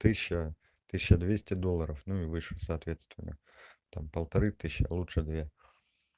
тысяча тысяча двести долларов ну и выше соответственно там полторы тысячи а лучше две